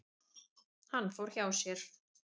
Hann fór hjá sér.